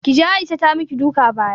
Kije Aisha ta maki duka baya